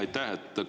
Aitäh!